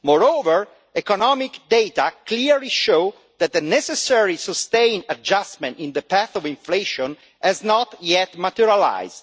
Moreover, economic data clearly show that the necessary sustained adjustment in the path of inflation has not yet materialised.